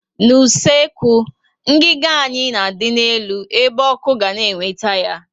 N' usekwu, ngiga anyị na adị n'elu ebe ọkụ ga na eweta ya